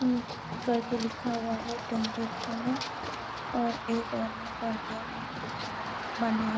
करके लिखा हुआ है में और एक आदमी कड़ाई में कुछ बना--